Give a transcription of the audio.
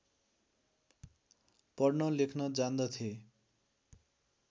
पढ्न लेख्न जान्दथे